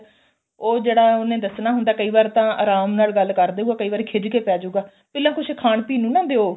ਉਹ ਜਿਹੜਾ ਉਹਨੇ ਦੱਸਣਾ ਹੁੰਦਾ ਕਈ ਵਾਰ ਤਾਂ ਆਰਾਮ ਨਾਲ ਗੱਲ ਕਰਦੇ ਉਹ ਕਈ ਵਾਰੀ ਖਿਜ ਕੇ ਪੈਜੂਗਾ ਪਹਿਲਾਂ ਕੁੱਝ ਖਾਣ ਪੀਣ ਨੂੰ ਨਾ ਦਿਉ